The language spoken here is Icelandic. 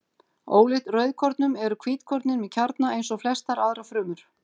Ólíkt rauðkornunum eru hvítkornin með kjarna eins og flestar aðrar frumur.